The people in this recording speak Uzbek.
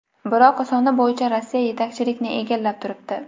Biroq, soni bo‘yicha Rossiya yetakchilikni egallab turibdi.